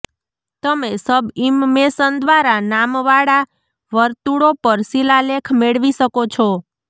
તમે સબઇમમેશન દ્વારા નામવાળા વર્તુળો પર શિલાલેખ મેળવી શકો છો